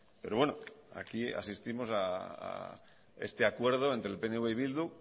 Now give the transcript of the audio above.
pero bueno aquí asistimos a este acuerdo entre el pnv y bildu